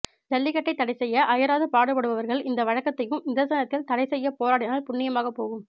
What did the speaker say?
ஜல்லிக்கட்டை தடைசெய்ய அயராது பாடுபடுபவர்கள் இந்த வழக்கத்தையும் நிதர்சனத்தில் தடை செய்ய போராடினால் புண்ணியமாகப் போகும்